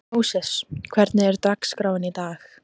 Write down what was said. Móses, hvernig er dagskráin í dag?